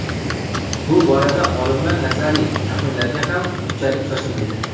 Bu borada olimlar nazariy taxminlarga ham unchalik shoshilmaydi.